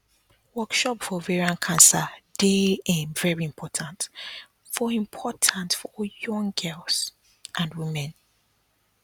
workshop for ovarian cancer dey um very important for important for young girls and women